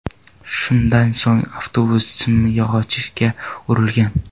Shundan so‘ng avtobus simyog‘ochga urilgan.